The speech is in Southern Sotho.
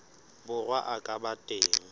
borwa a ka ba teng